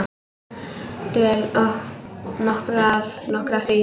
Dvel nokkra hríð.